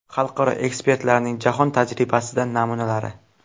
Xalqaro ekspertlarning jahon tajribasidan namunalari.